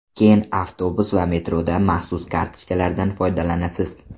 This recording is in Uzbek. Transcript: Keyin avtobus va metroda maxsus kartochkalardan foydalanasiz.